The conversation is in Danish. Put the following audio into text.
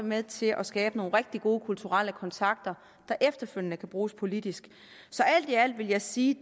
med til at skabe nogle rigtig gode kulturelle kontakter der efterfølgende kan bruges politisk så alt i alt vil jeg sige